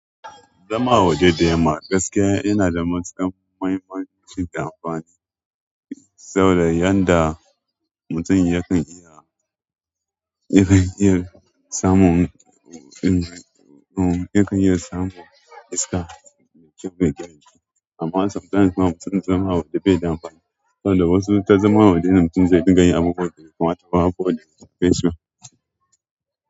Zama a waje da yamma gaskiya yana da matuƙan mahimmanci da amfani, saboda yanda mutum yakan iya, yakan iya samun, ya kan iya samun iska mai kyau mai gyara jiki. Amma sometimes kuma zama a waje bai da amfani saboda wasu ta zama a waje mutum zai dinga abubuwan dabe bai kamata ba ko bai shafeshi ba.